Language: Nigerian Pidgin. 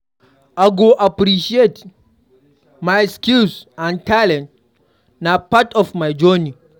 I go appreciate my skills and talents; na part of my journey.